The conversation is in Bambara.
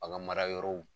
Bagan marayɔrɔw